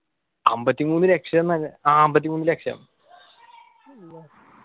അമ്പത്തിമൂന്ന് ലക്ഷ ന്നു ആഹ് അമ്പത്തിമൂന്ന് ലക്ഷം